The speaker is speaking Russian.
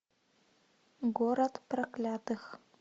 город проклятых